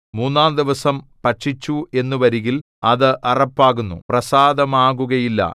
മൂന്നാംദിവസം ഭക്ഷിച്ചു എന്നു വരികിൽ അത് അറപ്പാകുന്നു പ്രസാദമാകുകയില്ല